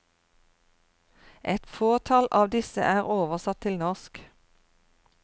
Et fåtall av disse er oversatt til norsk.